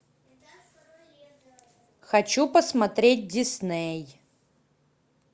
хочу посмотреть дисней